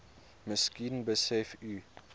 miskien besef u